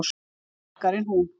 Sterkari en hún.